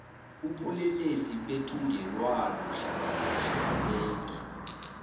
ubulelesi bethungelwano hlanganiso bunengi